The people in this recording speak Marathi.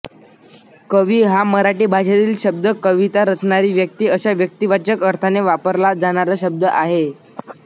कवी हा मराठी भाषेतील शब्द कविता रचणारी व्यक्ती अशा व्यक्तिवाचक अर्थाने वापरला जाणारा शब्द आहे